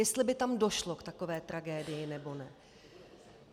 Jestli by tam došlo k takové tragédii, nebo ne.